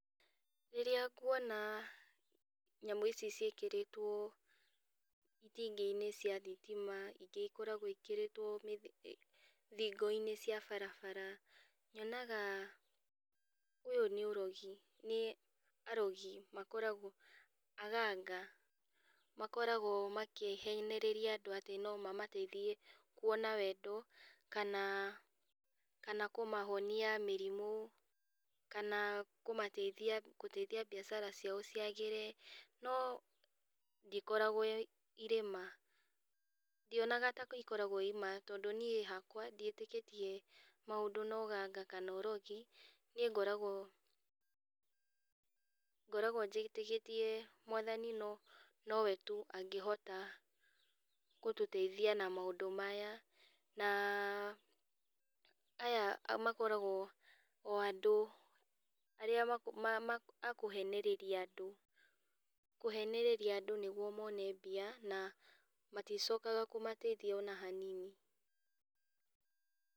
Rĩrĩa nguona nyamũ ici ciĩkĩrĩtwo itingĩinĩ cia thitima, ingĩ ikoragwo ciĩkĩrĩtwo thingoinĩ cia barabara, nyonaga ũyũ nĩ ũrogi, nĩ arogi makoragwo aganga, makoragwo makĩhenereria andũ atĩ nomamateithie kuona wendo, kana kana kũmahonia mĩrimũ, kana kũmateithia kũteithia mbiacara ciao ciagĩre, no ndĩkoragwo ĩrĩ irĩ ma. Ndionaga ta ikoragwo ciĩ ma, tondũ niĩ hakwa ndiĩtĩkĩtie maũndũ na ũganga kana ũrogi, niĩ ngoragwo ngoragwo njĩtĩkĩtie Mwathani no nowe tu angĩhota kũtũteithia na maũndũ maya, na aya makoragwo o andũ arĩa ma ma ma akũhenereria andũ kũhenereria andũ nĩguo mone mbia, na maticokaga kũmateithia ona hanini.